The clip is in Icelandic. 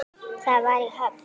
Það var í Höfn.